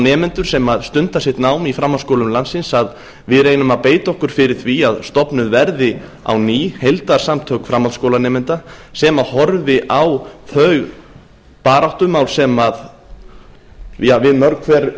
nemendur sem stunda sitt nám í framhaldsskólum landsins að við reynum að beita okkur fyrir því að stofnuð verði á ný heildarsamtök framhaldsskólanemenda sem horfi á þau baráttumál sem við mörg hver